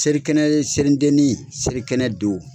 Selikɛnɛ selideni , selikɛnɛ don